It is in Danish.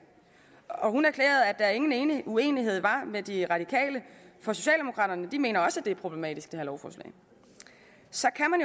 og hun erklærede at der ingen uenighed var med de radikale for socialdemokraterne mener også det er problematisk så kan